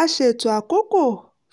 a ṣètò àkókò